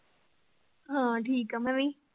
ਹਾਂ, ਠੀਕ ਆਂ ਮੈਂ ਵੀ।